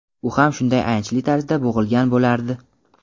u ham shunday ayanchli tarzda bo‘g‘ilgan bo‘lardi.